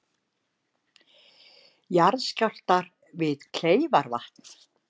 Jarðskjálftar við Kleifarvatn